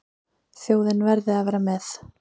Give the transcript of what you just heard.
Þjóðin verði að vera með.